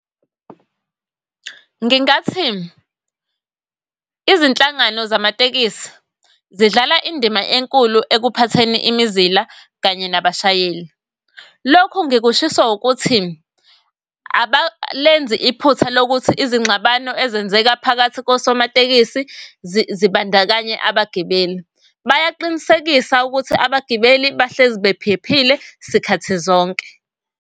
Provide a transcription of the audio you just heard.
Ngingathi izinhlangano zamatekisi zidlala indima enkulu ekuphatheni imizila kanye nabashayeli. Lokhu ngikushiso ukuthi abalenzi iphutha lokuthi izingxabano ezenzeka phakathi kosomatekisi zibandakanye abagibeli. Bayaqinisekisa ukuthi abagibeli bahlezi bephephile sikhathi zonke.